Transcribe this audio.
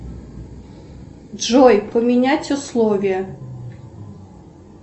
джой поменять условия